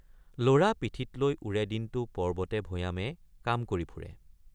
ল'ৰা পিঠিত লৈ ওৰে দিনটে৷ পৰ্বতেভৈয়ামে কাম কৰি ফুৰে।